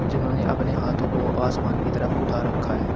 जिन्होंने अपने हाथों को आसमान की तरफ उठा रखा है।